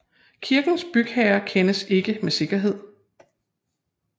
Kirkens bygherre kendes ikke med sikkerhed